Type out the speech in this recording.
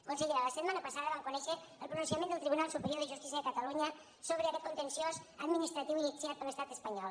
consellera la setmana passada vam conèixer el pronunciament del tribunal superior de justícia de catalunya sobre aquest contenciós administratiu iniciat per l’estat espanyol